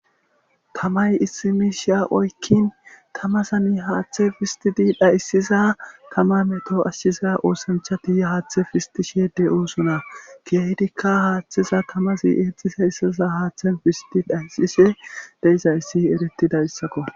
tamay issimishiya oykkin tamasani haaththe fistidi dhayssiza tama meto ashshiza oosanchati haaththe fistishe de7oosona keeydikka haaththeza tamasi eexxise yssaza haaththen fisiti dhaysise deizayssi erettida issakko.